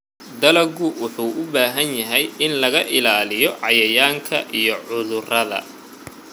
Dalaggu wuxuu u baahan yahay in laga ilaaliyo cayayaanka iyo cudurrada.